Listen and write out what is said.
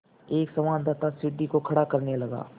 एक संवाददाता सीढ़ी को खड़ा करने लगा